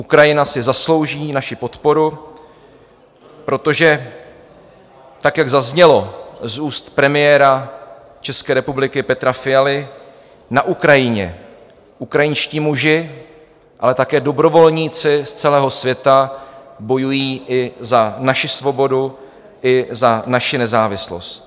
Ukrajina si zaslouží naši podporu, protože tak, jak zaznělo z úst premiéra České republiky Petra Fialy, na Ukrajině ukrajinští muži, ale také dobrovolníci z celého světa bojují i za naši svobodu i za naši nezávislost.